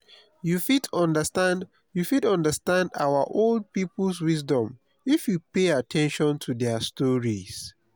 you fit understand you fit understand our old people’s wisdom if you pay at ten tion to their stories.